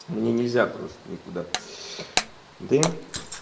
мне нельзя просто никуда да